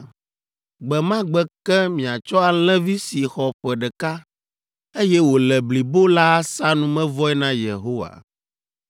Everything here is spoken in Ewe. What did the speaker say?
Gbe ma gbe ke miatsɔ alẽvi si xɔ ƒe ɖeka, eye wòle blibo la asa numevɔe na Yehowa.